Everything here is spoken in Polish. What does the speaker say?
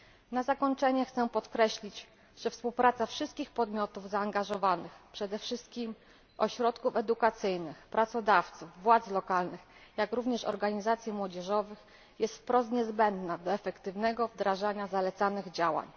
Na zakończenie chcę podkreślić, że współpraca wszystkich zaangażowanych podmiotów, przede wszystkim ośrodków edukacyjnych, pracodawców, władz lokalnych, jak również organizacji młodzieżowych, jest wprost niezbędna do efektywnego wdrożenia zalecanych działań.